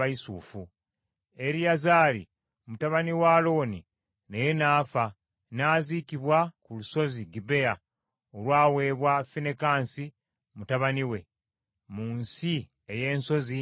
Eriyazaali mutabani wa Alooni naye n’afa, n’aziikibwa ku lusozi Gibea olwaweebwa Finekaasi mutabani we, mu nsi ey’ensozi eya Efulayimu.